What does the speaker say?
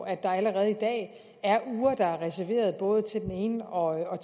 at der allerede i dag er uger der er reserveret både til den ene og